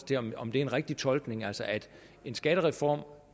til om om det er en rigtig tolkning altså at en skattereform